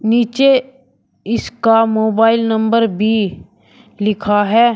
नीचे इसका mobile number भी लिखा है।